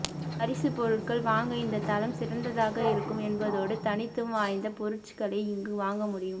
பரிசு பொருட்கள் வாங்க இந்த தளம் சிறந்ததாக இருக்கும் என்பதோடு தனித்துவம் வாய்ந்த பொருச்களை இங்கு வாங்க முடியும்